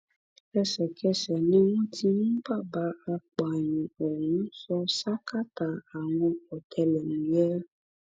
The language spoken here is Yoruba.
ẹsẹkẹsẹ ni wọn ti mú bàbá apààyàn ọ̀hún sọ sákàtà àwọn ọtẹlẹmúyẹ